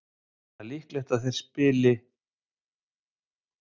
Það er líklegt að þeir geti spilað á sunnudag.